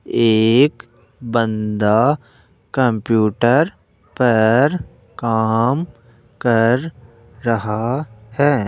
एक बन्दा कंप्यूटर पर काम कर रहा है।